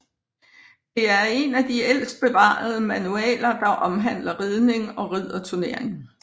Det er en af de ældste bevarede manualer der omhandler ridning og ridderturnering